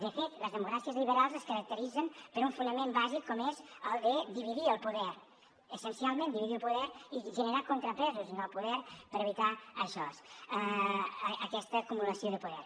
de fet les democràcies liberals es caracteritzen per un fonament bàsic com és el de dividir el poder essencialment dividir el poder i generar contrapesos en el poder per evitar això aquesta acumulació de poder